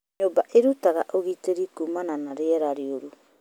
Nyũmba iĩrutaga ũgitĩri kuumana na rĩera rĩũru.